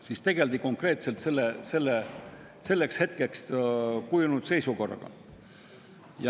Seal tegeldi konkreetselt selleks hetkeks kujunenud seisukorraga.